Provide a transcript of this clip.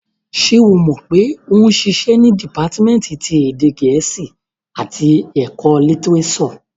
Ṣé o mọ̀ pé ó ń ṣiṣẹ́ ní dìpátímẹ́ǹtì ti èdè gẹ̀ẹ́sì àti ẹ̀kọ́ litirésọ̀?